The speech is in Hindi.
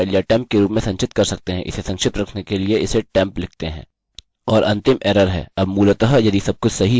अतः हम इसे temp file या temp के रूप में संचित कर सकते हैं इसे संक्षिप्त रखने के लिए इसे temp लिखते हैं